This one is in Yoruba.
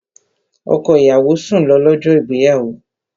Ọkọ ìyàwó sùn lọ, lọ́jọ́ ìgbéyàwó